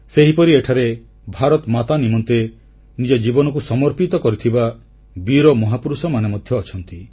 ସେହିପରି ଏଠାରେ ଭାରତମାତା ନିମନ୍ତେ ନିଜ ଜୀବନକୁ ସମର୍ପିତ କରିଥିବା ବୀର ମହାପୁରୁଷମାନେ ମଧ୍ୟ ଅଛନ୍ତି